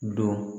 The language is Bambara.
Don